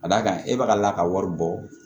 Ka d'a kan e bɛ ka lakari bɔ